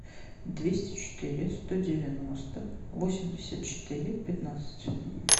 двести четыре сто девяносто восемьдесят четыре пятнадцать